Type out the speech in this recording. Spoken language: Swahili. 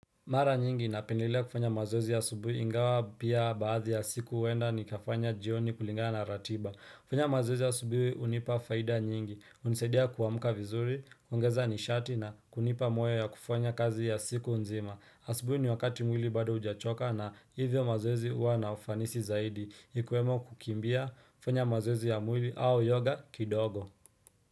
Mara nyingi napendelea kufanya mazoezi asubui ingawa pia baadhi ya siku huenda nikafanya jioni kulingana na ratiba kufanya mazoezi asubui hunipa faida nyingi, hunisaidia kuamka vizuri, kuongeza nishati na kunipa moyo ya kufanya kazi ya siku nzima Asubuhi ni wakati mwili bado hujachoka na hivyo mazoezi huwa na ufanisi zaidi, ikiwemo kukimbia, kufanya mazoezi ya mwili au yoga kidogo.